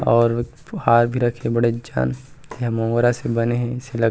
और हार भी रखें हे बड़ेक जान ये मोंगरा से बने हे अइसे लग --